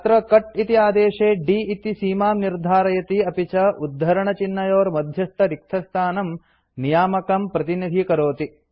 अत्र कट् इति आदेशे d इति सीमां निर्धारयति अपि च उद्धरणचिह्नयोर्मध्यस्थरिक्तस्थानं नियामकं प्रतिनिधीकरोति